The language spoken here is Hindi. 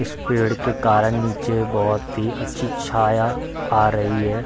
इस पेड़ के कारन नीचे बहुत ही अच्छी छाया आ रही है।